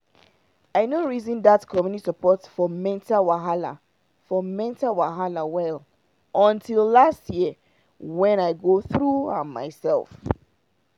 i no reason that community support for mental wahala for mental wahala well until last year when i go through am myself